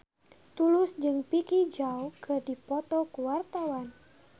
Tulus jeung Vicki Zao keur dipoto ku wartawan